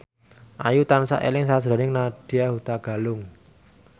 Ayu tansah eling sakjroning Nadya Hutagalung